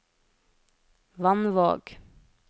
Vannvåg